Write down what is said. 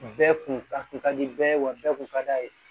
Bɛɛ kun a kun ka di bɛɛ ye wa bɛɛ kun ka d'a ye